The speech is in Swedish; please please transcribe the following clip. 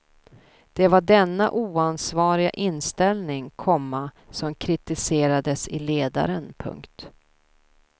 Det var denna oansvariga inställning, komma som kritiserades i ledaren. punkt